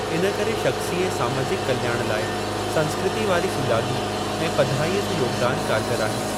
इनकरे शख़्सी ऐं समाजिक कल्याण लाइ संस्कृती वारी सुॼागी ऐं पधिराईअ जो योगदान कारगरु आहे।